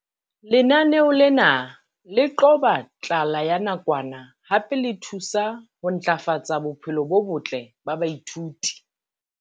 Lenaneo lena le qoba tlala ya nakwana hape le thusa ho ntlafatsa bophelo bo botle ba baithuti.